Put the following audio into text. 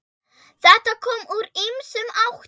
Þetta kom úr ýmsum áttum.